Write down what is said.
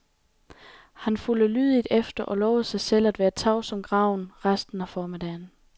Han fulgte lydigt efter og lovede sig selv at være tavs som graven resten af formiddagen.